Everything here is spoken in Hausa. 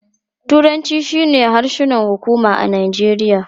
Turanci shine harshen hukuma a Najeriya.